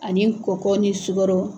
Ani kɔkɔ ni sukoro